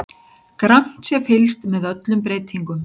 Grannt sé fylgst með öllum breytingum